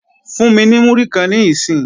Fún mi ní múrí kan níìsín!